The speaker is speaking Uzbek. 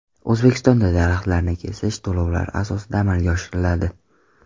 O‘zbekistonda daraxtlarni kesish to‘lovlar asosida amalga oshiriladi.